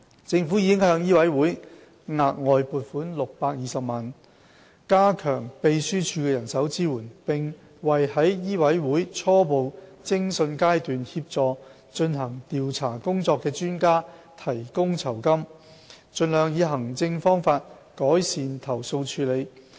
政府已向醫委會額外撥款620萬元，加強秘書處的人手支援，並為在醫委會初步偵訊階段協助進行調查工作的專家提供酬金，盡量以行政方法改善投訴處理。